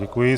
Děkuji.